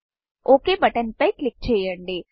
ఒక్ button okay బటన్పై క్లిక్ చేయండి